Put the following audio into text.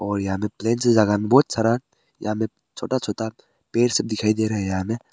और यहां पे प्लेन से ज्यादा बहुत सारा यहां पे छोटा छोटा पेड़ सब दिखाई दे रहा है।